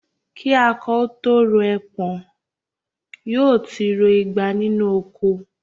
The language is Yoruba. Kí akọ ó tó rọ ẹpọ̀n, yóò ti ro igba nínú oko